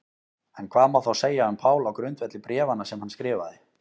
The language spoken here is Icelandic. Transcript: En hvað má þá segja um Pál á grundvelli bréfanna sem hann skrifaði?